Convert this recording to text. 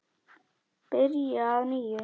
Byrja að nýju?